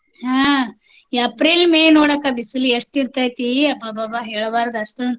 ಹಾ April, May ನೋಡಕ್ಕ ಬಿಸ್ಲ್ ಎಷ್ಟ್ ಇರ್ತೇತ್ರೀ ಅಬ್ಬಬ್ಬಬ್ಬಾ ಹೇಳ್ಬಾರ್ದ್ ಅಷ್ಟೋಂದ್.